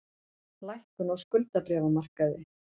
Lækkun á skuldabréfamarkaði